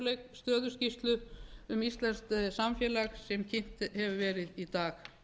stöðuskýrslu um íslenskt samfélag sem kynnt hefur verið í dag